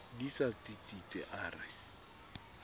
di sa tsitsitse a re